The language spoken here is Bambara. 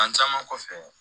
San caman kɔfɛ